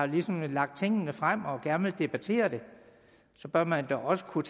ligesom har lagt tingene frem og gerne vil debattere det bør man da også kunne